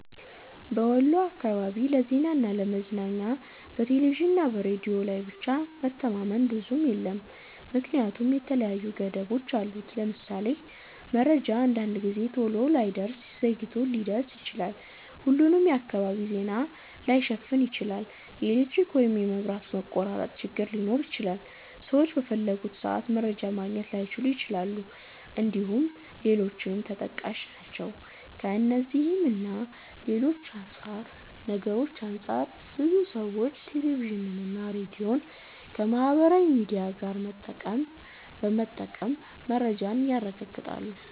በወሎ አካባቢ ለዜናና ለ ለመዝናኛ በቴሌቪዥንና ሬዲዮ ላይ ብቻ መተማመን ብዙም የለም ምክንያቱም የተለያዩ ገደቦች አሉት። ለምሳሌ:- መረጃ አንዳንድ ጊዜ ቶሎ ላይደርስ ዘግይቶ ሊደርስ ይችላል፣፣ ሁሉንም የአካባቢ ዜና ላይሸፍን ይችላል፣ የኤሌክትሪክ ወይም የመብራት መቆራረጥ ችግር ሊኖር ይችላል፣ ሰዎች በፈለጉት ሰአት መረጃ ማግኘት ላይችሉ ይችላል እንድሁም ሌሎችም ተጠቃሽ ናቸው። ከእነዚህ እና ሌሎች ነገርሮች አንፃር ብዙ ሰዎች ቴሌቪዥንና ሬዲዮን ከማህበራዊ ሚዲያ ጋር በመጠቀም መረጃን ያረጋግጣሉ።